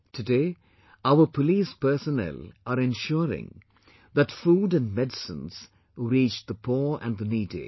Today our police personnel are ensuring that food and medicines reach the poor and the needy